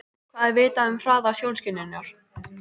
Hvað er vitað um hraða sjónskynjunar?